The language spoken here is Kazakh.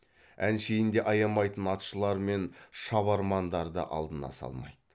әншейінде аямайтын атшылар мен шабармандарды алдына салмайды